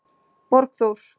Borgþór